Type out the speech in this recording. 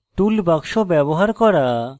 tool box ব্যবহার করা